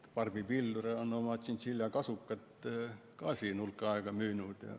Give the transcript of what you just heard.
Barbi Pilvre on oma tšintšiljakasukat juba hulk aega müünud.